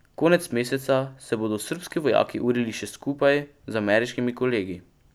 Konec meseca se bodo srbski vojaki urili še skupaj z ameriškimi kolegi.